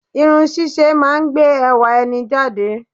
Irun ṣíṣe máa ń gbé ẹwà ẹni jáde